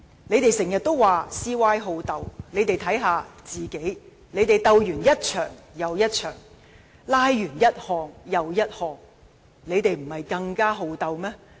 反對派經常說 "CY 好鬥"，但他們也應該好好看看自己，他們鬥完一場又一場，"拉"完一項又一項，豈不是更加好鬥嗎？